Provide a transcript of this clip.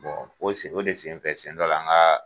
Bɔn sen o de senfɛ sɛn dɔ la n gaa